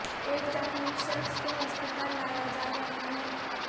ایک زخمی شخص کو ہسپتال لایا جا رہا ہے